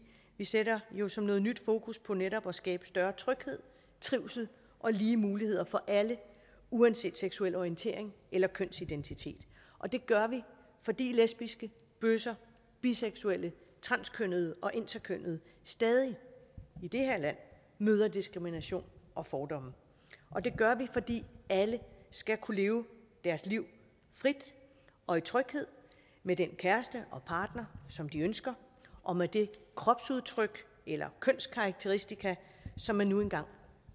vi sætter jo som noget nyt fokus på netop at skabe større tryghed trivsel og lige muligheder for alle uanset seksuel orientering eller kønsidentitet det gør vi fordi lesbiske bøsser biseksuelle transkønnede og interkønnede stadig i det her land møder diskrimination og fordomme det gør vi fordi alle skal kunne leve deres liv frit og i tryghed med den kæreste og partner som de ønsker og med det kropsudtryk eller kønskarakteristika som man nu engang